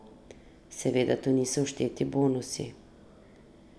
Seveda tu niso všteti bonusi...